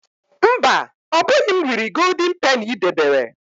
Mba, ọbụghị m riri Goldin Peni i debere.